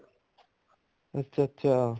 ਅੱਛਿਆ ਅੱਛਿਆ